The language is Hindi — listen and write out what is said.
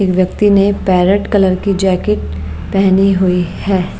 एक व्यक्ति ने पैरेट कलर की जैकेट पहनी हुई है।